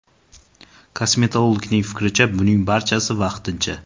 Kosmetologning fikricha, buning barchasi vaqtincha.